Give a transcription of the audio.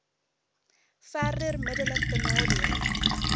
verder middelik benadeel